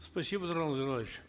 спасибо нурлан зайроллаевич